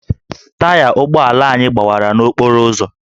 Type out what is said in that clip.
Taya ụgbọ ala anyị gbawara n'okporo ụzọ